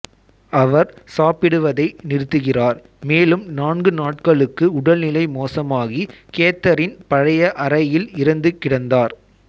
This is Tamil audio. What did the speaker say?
அவர் சாப்பிடுவதை நிறுத்துகிறார் மேலும் நான்கு நாட்களுக்கு உடல்நிலை மோசமாகி கேத்தரின் பழைய அறையில் இறந்து கிடந்தார்